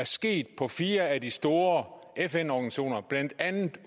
sket på fire af de store fn organisationer blandt andet